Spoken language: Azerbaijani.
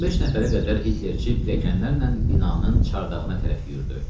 15 nəfərə qədər Hitlerçi pulemyotçularla binanın çardağına tərəf yürüdü.